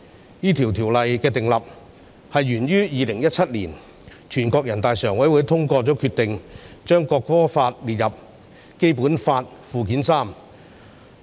訂立這項條例，是源於2017年，人大常委會通過決定，將《國歌法》列入《基本法》附件三。